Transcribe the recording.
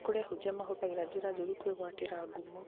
nĩ kũrĩ ahunjia mahũthagĩra njĩra njũru kwĩgwatĩra ngumo